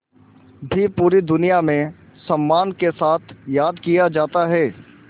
भी पूरी दुनिया में सम्मान के साथ याद किया जाता है